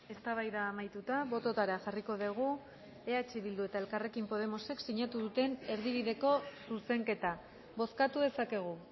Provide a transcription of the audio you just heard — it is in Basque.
eztabaida amaituta bototara jarriko dugu eh bilduk eta elkarrekin podemosek sinatu duten erdibideko zuzenketa bozkatu dezakegu